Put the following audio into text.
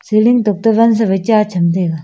seling tok to wan sa waI cha cham taiga.